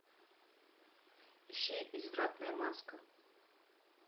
ищи извратная маска